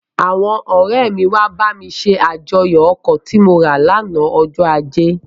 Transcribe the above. Àwọn ọ̀rẹ́ mi wá bá mi ṣe àjọyọ̀ ọkọ̀ tí mo rà lánàá ọjọ ajé,